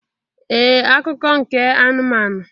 Ee akụkọ nke anụmanụ